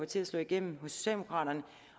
til at slå igennem hos socialdemokraterne